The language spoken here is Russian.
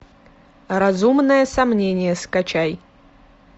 разумное сомнение скачай